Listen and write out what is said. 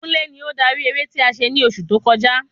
Kúnlé ni ó darí eré ti a se ni oṣù tó kọjá